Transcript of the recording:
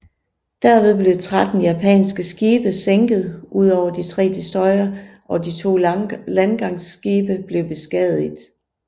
Derved blev 13 japanske skibe sænket udover at tre destroyere og to landgangsskibe blev beskadiget